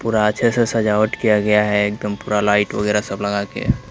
पूरा अच्छे से सजावट किया गया है एकदम पूरा लाइट वगैरा सब लगा के।